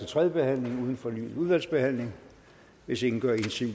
tredje behandling uden fornyet udvalgsbehandling hvis ingen gør indsigelse